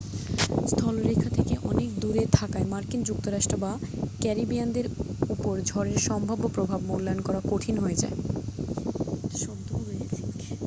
স্থলরেখা থেকে অনেক দূরে থাকায় মার্কিন যুক্তরাষ্ট্র বা ক্যারিবিয়ানদের উপর ঝড়ের সম্ভাব্য প্রভাব মূল্যায়ন করা কঠিন হয়ে যায়